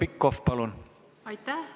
Aitäh!